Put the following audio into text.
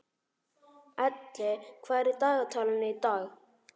Elli, hvað er í dagatalinu í dag?